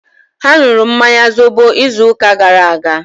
Ha nụrụ mmanya zobo izu ụka gara aga